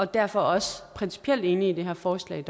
derfor også principielt enig i det her forslag